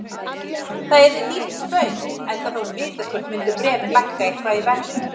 Það yrði dýrt spaug, enda þótt vitaskuld myndu bréfin lækka eitthvað í verði.